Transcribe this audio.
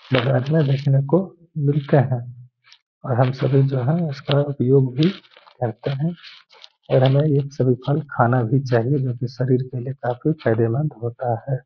देखने को मिलते है और हम सभी जो है। उसका उपयोग भी करते है और हमे ये सभी फल खाना भी चाहिए जोकि शरीर के लिए काफ़ी फायदेमंद होता है।